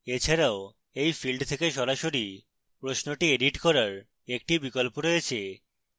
এছাড়াও এই field থেকে সরাসরি প্রশ্নটি edit করার একটি বিকল্প রয়েছে